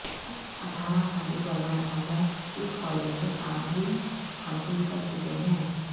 اٹھارہ سابق وزراء اعظم اس کالج سے تعلیم حاصل کر چکے ہیں